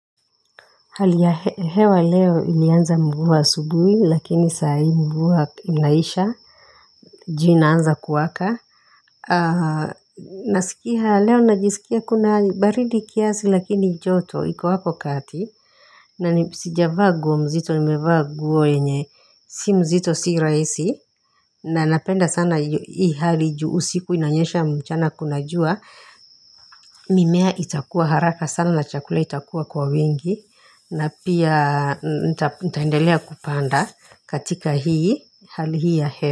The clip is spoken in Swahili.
Hali ya hewa leo ilianza mvua asubuhi lakini saa hii mvua inaisha jua inaanza kuwaka. Nasikia leo najisikia kuna baridi kiasi lakini joto iku hapo kati. Na ni sijavaa nguo mzito nimevaa nguo yenye si mzito si rahisi. Nasikia leo najisikia kuna baridi kiasi lakini joto iku hapo kati. Mimea itakua kwa haraka sana na chakula itakuwa kwa wingi na pia nitaendelea kupanda ktika hii hali hii ya hewa.